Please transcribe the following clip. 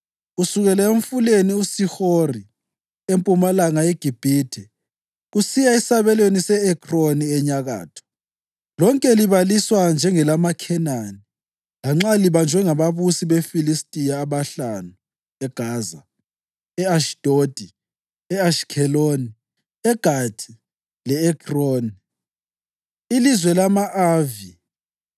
kusukela emfuleni uShihori empumalanga yeGibhithe kusiya esabelweni se-Ekroni enyakatho, lonke libaliswa njengelamaKhenani lanxa libanjwe ngababusi beFilistiya abahlanu eGaza, e-Ashidodi, e-Ashikheloni, eGathi le-Ekroni ilizwe lama-Avi;